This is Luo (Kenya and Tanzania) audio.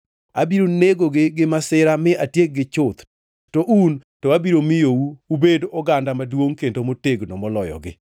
Abiro negogi gi masira mi atiekgi chuth, to un to abiro miyou ubed oganda maduongʼ kendo motegno moloyogi.”